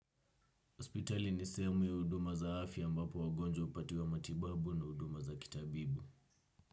Hospitali ni sehemu ya huduma za afya ambapo wagonjwa hupatiwa matibabu na huduma za kitabibu.